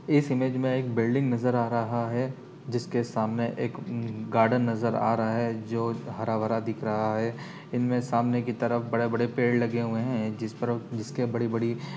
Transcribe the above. इस इमेज में एक बिल्डिंग नजर आ रहा है जिसके सामने एक अ गार्डन नजर आ रहा है जो हरा भरा दिख रहा है इनमे सामने की तरफ बड़े बड़े पेड़ लगे हुए हैं जिस पर जिसके बड़ी बड़ी --